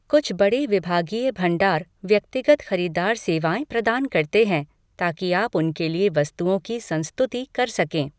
कुछ बड़े विभागीय भंडार व्यक्तिगत खरीदार सेवाएँ प्रदान करते हैं, ताकि आप उनके लिए वस्तुओं की संस्तुति कर सकें।